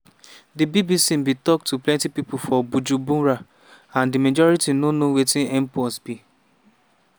di bbc bin tok to plenti pipo for bujumbura and di majority no know wetin mpox be.